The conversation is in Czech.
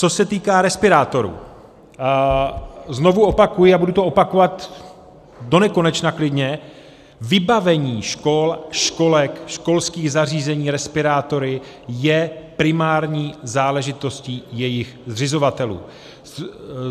Co se týká respirátorů, znovu opakuji a budu to opakovat donekonečna klidně, vybavení škol, školek, školských zařízení respirátory je primární záležitostí jejich zřizovatelů.